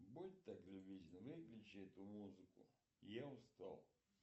будь так любезен выключи эту музыку я устал